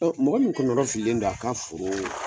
Mɔgɔ min kɔnɔ fililen don a ka foroo